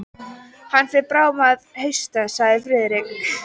Hann fer bráðum að hausta sagði Friðrik.